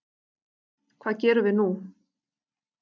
Hvað gerum við nú